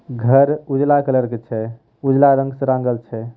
घर उजला कलर के छे उजला रंग से रंग्लवा छे।